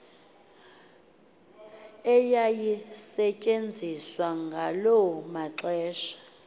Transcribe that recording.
eyayisetyenziswa ngalo maxesha